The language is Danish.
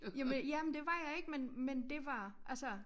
Jamen ja men det var jeg ikke men men det var altså